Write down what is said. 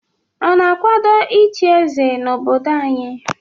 Ọ na-akwado ịchị eze na obodo anyị?